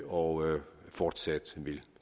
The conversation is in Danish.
og fortsat vil